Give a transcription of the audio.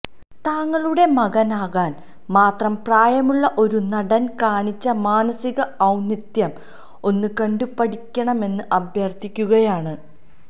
താങ്കളുടെ മകനാകാന് മാത്രം പ്രായമുളള ഒരു നടന് കാണിച്ച മാനസിക ഔന്നിത്യം ഒന്ന് കണ്ടുപഠിക്കണമെന്ന് അഭ്യര്ത്ഥിക്കുകയാണ്